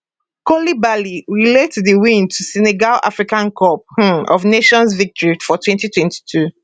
koulibaly relate di win to senegal africa cup um of nations victory for 2022